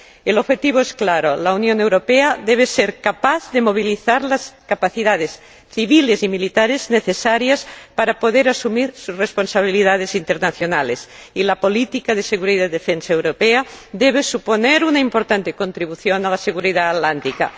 El objetivo es claro la Unión Europea debe ser capaz de movilizar las capacidades civiles y militares necesarias para poder asumir sus responsabilidades internacionales, y la política común de seguridad y defensa debe suponer una importante contribución a la seguridad atlántica.